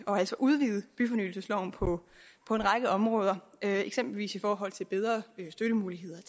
altså udvide byfornyelsesloven på på en række områder eksempelvis i forhold til bedre støttemuligheder